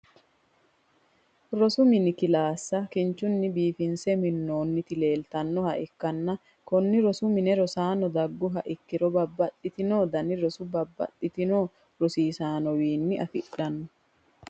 rosu minni kilaassa kinchunni biifinse minooniti leelitannoha ikanna konne rosu minne rosaano daguha ikiro babaxinno danni roso babaxitino rosiisaanowiinni afidhanno.